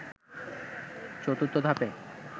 ৪র্থ ধাপে